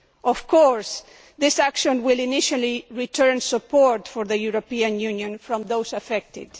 Of course, this action will initially return support for the European Union from those affected.